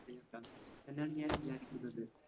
എന്നാണ് ഞാൻ വിചാരിക്കുന്നത്.